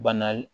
Bana